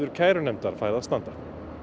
kærunefndar fær að standa